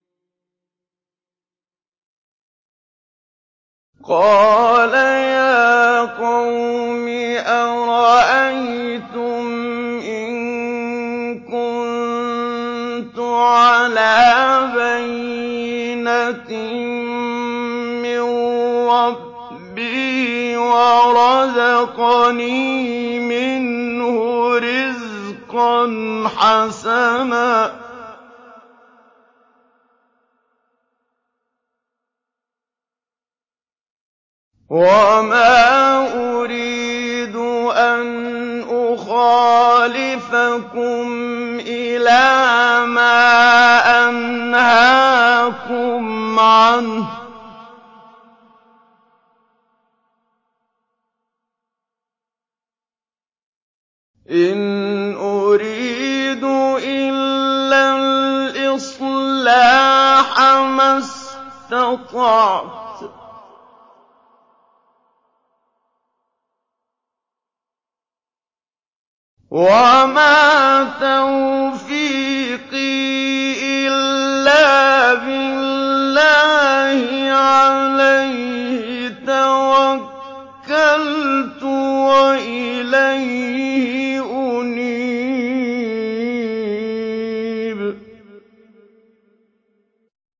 قَالَ يَا قَوْمِ أَرَأَيْتُمْ إِن كُنتُ عَلَىٰ بَيِّنَةٍ مِّن رَّبِّي وَرَزَقَنِي مِنْهُ رِزْقًا حَسَنًا ۚ وَمَا أُرِيدُ أَنْ أُخَالِفَكُمْ إِلَىٰ مَا أَنْهَاكُمْ عَنْهُ ۚ إِنْ أُرِيدُ إِلَّا الْإِصْلَاحَ مَا اسْتَطَعْتُ ۚ وَمَا تَوْفِيقِي إِلَّا بِاللَّهِ ۚ عَلَيْهِ تَوَكَّلْتُ وَإِلَيْهِ أُنِيبُ